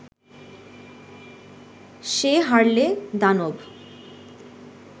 সে হারলে দানব